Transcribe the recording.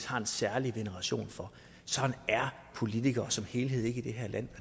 har en særlig veneration for sådan er politikere som helhed ikke i det her land